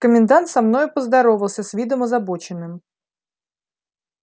комендант со мною поздоровался с видом озабоченным